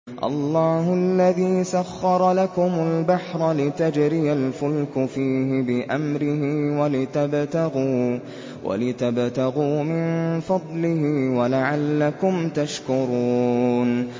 ۞ اللَّهُ الَّذِي سَخَّرَ لَكُمُ الْبَحْرَ لِتَجْرِيَ الْفُلْكُ فِيهِ بِأَمْرِهِ وَلِتَبْتَغُوا مِن فَضْلِهِ وَلَعَلَّكُمْ تَشْكُرُونَ